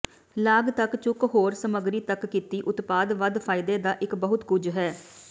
ਲਾਗ ਤੱਕ ਝੁੱਕ ਹੋਰ ਸਮੱਗਰੀ ਤੱਕ ਕੀਤੀ ਉਤਪਾਦ ਵੱਧ ਫਾਇਦੇ ਦਾ ਇੱਕ ਬਹੁਤ ਕੁਝ ਹੈ